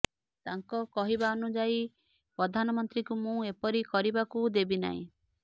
ତାଙ୍କ କହିବା ଅନୁଯାୟୀ ପ୍ରଧାନମନ୍ତ୍ରୀଙ୍କୁ ମୁଁ ଏପରି କରିବାକୁ ଦେବି ନାହିଁ